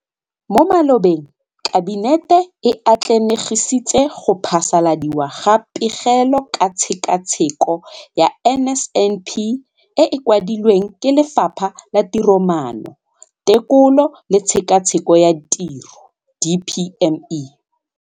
Mo malobeng Kabinete e atlenegisitse go phasaladiwa ga Pegelo ka Tshekatsheko ya NSNP e e kwadilweng ke Lefapha la Tiromaano, Tekolo le Tshekatsheko ya Tiro DPME.